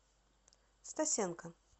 стасенко